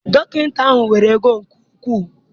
Dọkịta ahụ nwere ego nke ukwu.